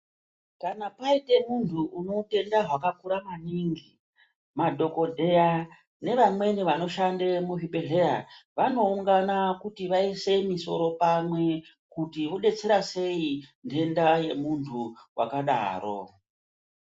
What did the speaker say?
Kana paite muntu une utenda hwakakura maningi, madhokodheya nevamweni vanoshande muzvibhedhleya, vanoungana kuti vaise misoro pamwe kuti vodetsera sei ndenda yemuntu wakadaro.